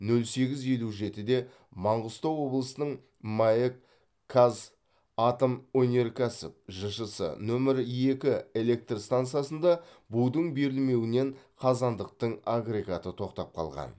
нөл сегіз елу жетіде маңғыстау облысының маэк казатомөнеркәсіп жшс нөмір екі электр стансасында будың берілмеуінен қазандықтың агрегаты тоқтап қалған